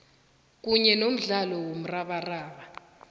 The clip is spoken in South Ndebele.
kanye nomdlalo womrabaraba